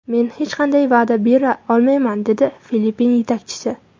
Men hech qanday va’da bera olmayman”, dedi Filippin yetakchisi.